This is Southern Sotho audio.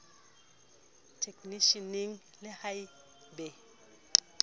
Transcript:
eknisheneng le ha e be